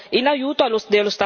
Quindi, più Europa.